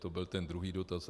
To byl ten druhý dotaz.